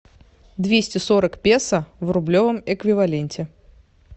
двести сорок песо в рублевом эквиваленте